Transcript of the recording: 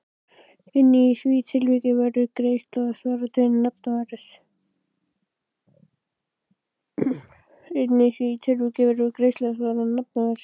Einnig í því tilviki verður greiðsla að svara til nafnverðs.